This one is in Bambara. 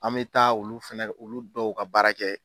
An me taa olu fɛnɛ olu dɔw ka baara kɛ